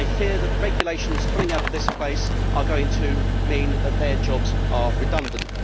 They fear that the regulations coming out of this place are going to mean that their jobs are redundant.